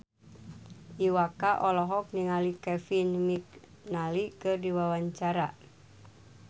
Iwa K olohok ningali Kevin McNally keur diwawancara